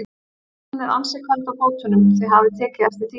Hún er ansi köld á fótunum, þið hafið tekið eftir því?